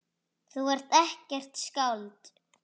Þú ert ekkert skáld.